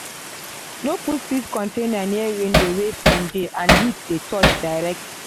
no put seed container near window wey sun and heat dey touch direct.